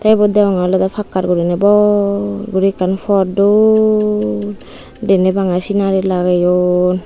tey ibot degongey olodey pakkar guriney bor guri ekkan pot dol deney bangey sinari lageyon.